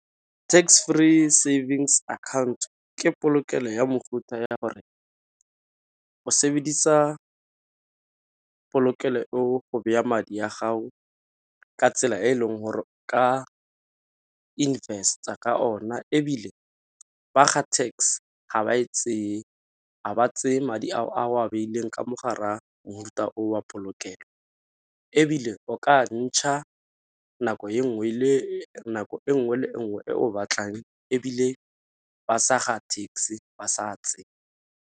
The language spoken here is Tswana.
Tax free savings account ke polokelo ya mofuta ya gore o sebedisa polokelo eo go baya madi a gago ka tsela e e leng gore ka invest-a ka ona, ebile ba ga tax ga ba e tseye a ba tseye madi a o a beileng ka mogare a mofuta o wa polokelo. Ebile o ka ntšha nako e nngwe le nngwe e o batlang, ebile ba sa ga tax ba sa tsee.